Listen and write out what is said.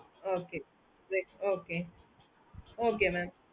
okay okay okay mam